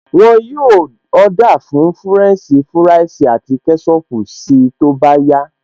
Wọn yóò Ọ́dà fún fúrẹ́ǹṣì fúráìsì àti kẹ́ṣọpù si tó bá yá